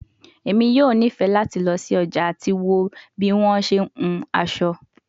Emi yoo nifẹ lati lọ si ọja ati wo bi wọn ṣe hun aso